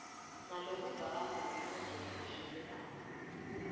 ngalokuvakalako nangendlela leshelelako